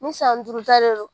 Ni san duuru ta de don